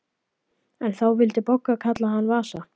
En þá vildi Bogga kalla hann Vasa.